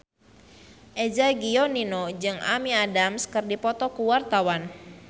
Eza Gionino jeung Amy Adams keur dipoto ku wartawan